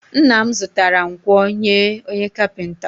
Nna m zụtara nkwọ nye onye kapịnta